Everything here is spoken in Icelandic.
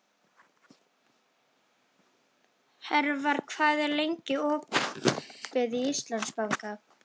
Hervar, hvað er lengi opið í Íslandsbanka?